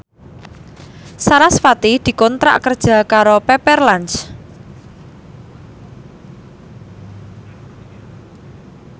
sarasvati dikontrak kerja karo Pepper Lunch